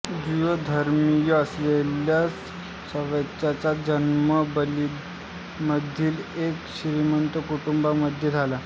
Jew धर्मीय असलेल्या साक्सचा जन्म बर्लिनमधील एका श्रीमंत कुटुंबामध्ये झाला